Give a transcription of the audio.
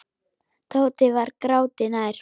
Tóti var gráti nær.